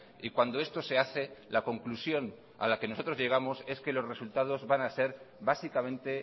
y cuando esto se hace la conclusión a la que nosotros llegamos es que los resultados van a ser básicamente